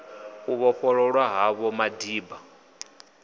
u vhofhololwa ha vho madiba